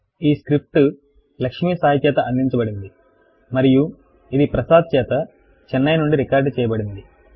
ఈ స్క్రిప్ట్ చేత అందించబడినది మరియు ఇది చేత నుండి రికార్డ్ చేయబడినది